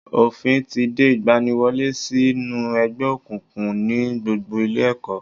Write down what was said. Òfín ti de ìgbaniwọlé sí nú ẹgbẹ́ òkùnkùn ní gbogbo ilé ẹ̀kọ́